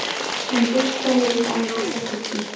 Hann buslaði um angistarfullur.